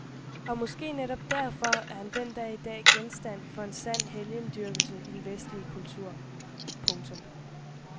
Og måske netop derfor er han den dag i dag genstand for en sand helgendyrkelse i den vestlige verden. punktum